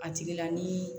A tigi la ni